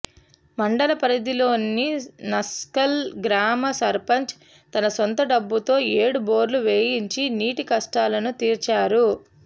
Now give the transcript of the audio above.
మండల పరిథిలోని నస్కల్ గ్రామ సర్పంచ్ తన సొంత డబ్బులతో ఏడు బోర్లు వేయించి నీటి కష్టాలను తీర్చారు